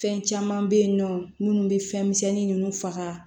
Fɛn caman bɛ yen nɔ minnu bɛ fɛnmisɛnni ninnu faga